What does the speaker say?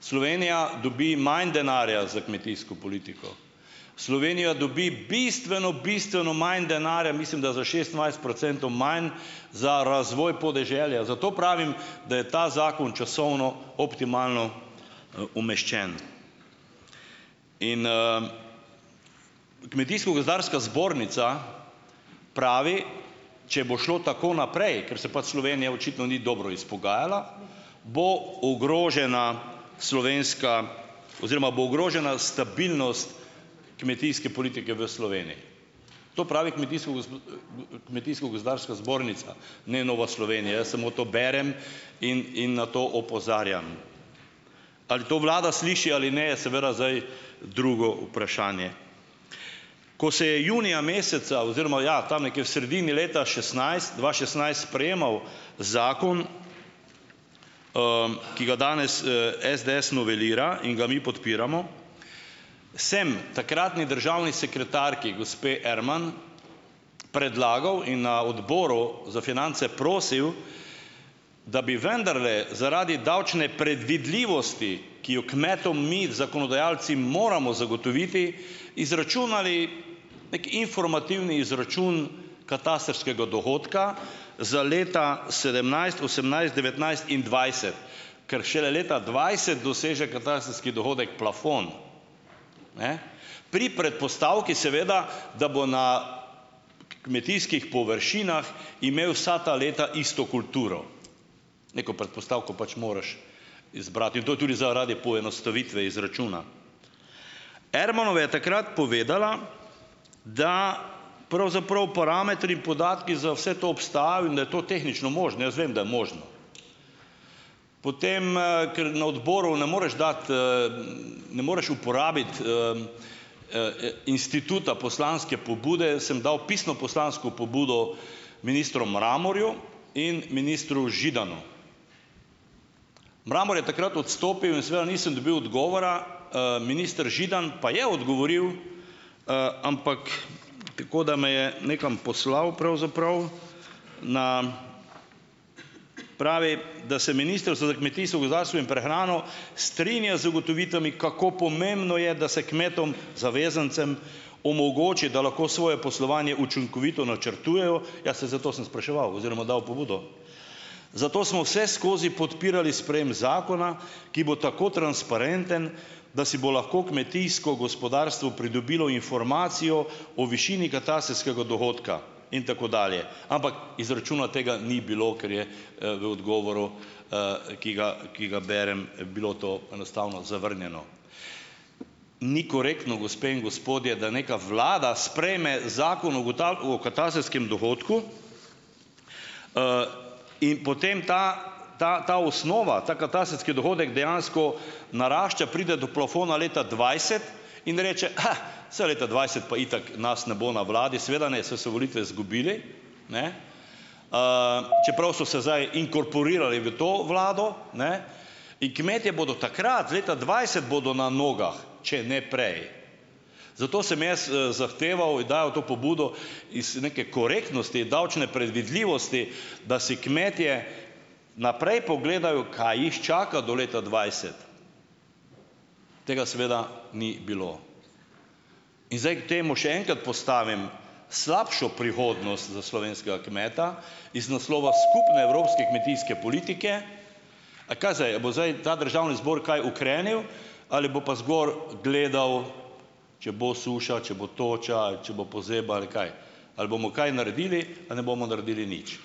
Slovenija dobi manj denarja za kmetijsko politiko, Slovenija dobi bistveno, bistveno manj denarja, mislim, da za šestindvajset procentov manj za razvoj podeželja. Zato pravim, da je ta zakon časovno optimalno, umeščen. In, Kmetijsko-gozdarska zbornica pravi: "Če bo šlo tako naprej, ker se pač Slovenija očitno ni dobro izpogajala, bo ogrožena slovenska oziroma bo ogrožena stabilnost kmetijske politike v Sloveniji." To pravi Kmetijsko-gospo, Kmetijsko-gozdarska zbornica. Ne Nova Slovenija, jaz samo to berem in, in na to opozarjam. Ali to vlada sliši ali ne, je seveda zdaj drugo vprašanje. Ko se je junija meseca oziroma - ja, tam nekje v sredini leta šestnajst, dva šestnajst, sprejemal zakon, ki ga danes, SDS novelira in ga mi podpiramo, sem takratni državni sekretarki gospe Erman predlagal in na odboru za finance prosil, da bi vendarle zaradi davčne predvidljivosti, ki jo kmetom mi, zakonodajalci, moramo zagotoviti, izračunali neki informativni izračun katastrskega dohodka za leta sedemnajst, osemnajst, devetnajst in dvajset. Ker šele leta dvajset doseže katastrski dohodek plafon. Ne? Pri predpostavki, seveda, da bo na kmetijskih površinah imel vsa ta leta isto kulturo. Neko predpostavko pač moraš izbrati. In to je tudi zaradi poenostavitve izračuna. Ermanova je takrat povedala, da pravzaprav parametri, podatki za vse to obstajajo in da je to tehnično možno - jaz vem, da je možno. Potem, ker na odboru ne moreš dati, ne moreš uporabiti, instituta poslanske pobude, sem dal pisno poslansko pobudo ministru Mramorju in ministru Židanu. Mramor je takrat odstopil in seveda nisem dobil odgovora, minister Židan pa je odgovoril, ampak tako, da me je nekam poslal pravzaprav. Na. Pravi, da se Ministrstvo za kmetijstvo, gozdarstvo in prehrano strinja z ugotovitvami, kako pomembno je, da se kmetom zavezancem omogoči, da lahko svoje poslovanje učinkovito načrtujejo - ja, saj zato sem spraševal oziroma dal pobudo. Zato smo vseskozi podpirali sprejem zakona, ki bo tako transparenten, da si bo lahko kmetijsko gospodarstvo pridobilo informacijo o višini katastrskega dohodka. In tako dalje. Ampak izračuna tega ni bilo, ker je, v odgovoru, ki ga, ki ga berem, bilo to enostavno zavrnjeno. Ni korektno, gospe in gospodje, da nekaj vlada sprejme Zakon o o katastrskem dohodku, in potem ta ta, ta osnova, ta katastrski dohodek dejansko narašča, pride do plafona leta dvajset in reče: "Kha, saj leta dvajset pa itak nas ne bo na vladi." Seveda ne, saj so volitve zgubili. Ne? Čeprav so se zdaj inkorporirali v to vlado, ne? In kmetje bodo takrat, leta dvajset bodo na nogah. Če ne prej. Zato sem jaz, zahteval in dajal to pobudo iz neke korektnosti, davčne predvidljivosti, da si kmetje naprej pogledajo, kaj jih čaka do leta dvajset. Tega seveda ni bilo. In zdaj k temu še enkrat postavim slabšo prihodnost za slovenskega kmeta iz naslova skupne evropske kmetijske politike. A kaj zdaj? A bo zdaj ta državni zbor kaj ukrenil? Ali bo pa zgoraj gledal, če bo suša, če bo toča ali če bo pozeba ali kaj? Ali bomo kaj naredili ali ne bomo naredili nič?